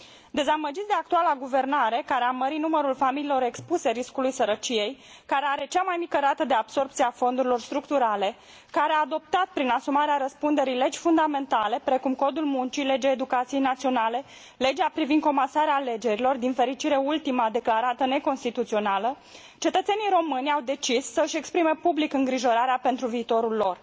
Dezamăgiți de actuala guvernare care a mărit numărul familiilor expuse riscului sărăciei, care are cea mai mică rată de absorbție a fondurilor structurale, care a adoptat prin asumarea răspunderii legi fundamentale, precum codul muncii, legea educației naționale, legea privind comasarea alegerilor, din fericire ultima declarată neconstituțională, cetățenii români au decis să și exprime public îngrijorarea pentru viitorul lor.